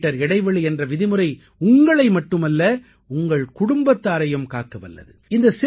ஒரு மீட்டர் இடைவெளி என்ற விதிமுறை உங்களை மட்டுமல்ல உங்கள் குடும்பத்தாரையும் காக்க வல்லது